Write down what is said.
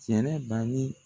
cɛrɛ bali